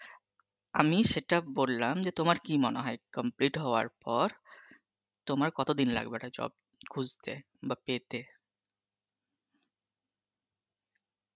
আমি সেটা বললাম যে তোমার কি মনে হয় complete হওয়ার পর, তোমার কতদিন লাগবে একটা job খুজতে বা পেতে?